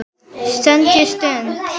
SJÖUNDA STUND